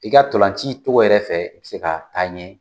I ka ntolanci cogo yɛrɛ fɛ, i bɛ se ka taa ɲɛ!